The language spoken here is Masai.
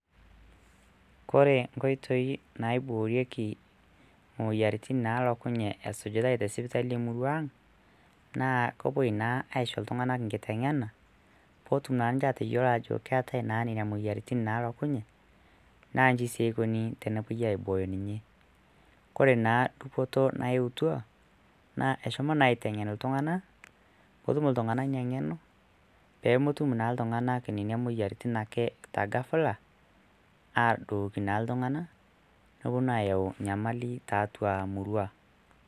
kore nkoitoi naiborieki moyiaritin nalokunye esujitae tesipitali emurua ang naa kopuoi naa aisho iltung'anak nkiteng'ena potum naa ninche ateyiolo ajo keetae naa nena moyiaritin nalokunye naa inji sii ikoni tenepuoi aiboyo ninye kore naa dupoto nayeutua naa eshomo naa aiteng'en iltung'anak potum iltung'anak ina ng'eno pomotum naa iltung'anak inena moyiaritin te ghafla adooki naa iltung'anak noponu ayau nyamali tiatua murua.